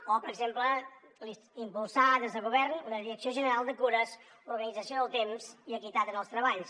o per exemple impulsar des del govern una direcció general de cures organització del temps i equitat en els treballs